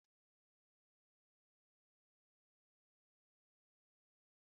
N'ehihie mmiri ozuzo zuru oke maka ịkọ akụkọ.